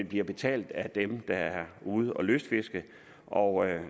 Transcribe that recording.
bliver betalt af dem der er ude at lystfiske og